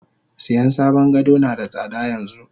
Siyan sabon gado nada tsada yanxu.